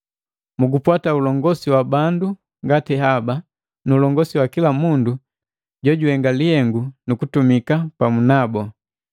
Mugupwata ulongosi wa bandu ngati haba, nu ulongosi wa kila mundu jojuhenga lihengu nukutumika pamu nabu.